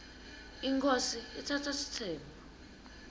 inkhosi itsatsa sitsembu